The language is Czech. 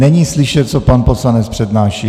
Není slyšet, co pan poslanec přednáší.